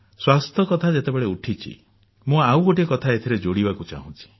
ସ୍ୱାସ୍ଥ୍ୟ କଥା ଯେତେବେଳେ ଉଠିଛି ମୁଁ ଆଉ ଗୋଟିଏ କଥା ଏଥିରେ ଯୋଡିବାକୁ ଚାହୁଁଛି